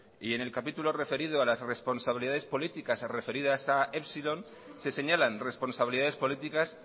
y en el capítulo referido a las responsabilidades políticas referidas a epsilon se señalan responsabilidades políticas